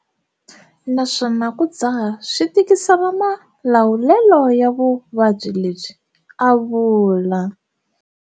Naswona ku dzaha swi tikisela malawulelo ya vuvabyi lebyi, a vula.